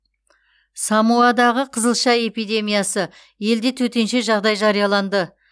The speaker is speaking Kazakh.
самоадағы қызылша эпидемиясы елде төтенше жағдай жарияланды